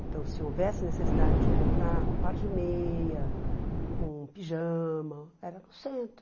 Então, se houvesse necessidade de comprar um par de meia, um pijama, era no centro.